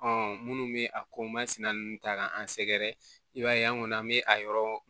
minnu bɛ a ko masina ninnu ta k'an sɛgɛrɛ i b'a ye an kɔni an bɛ a yɔrɔ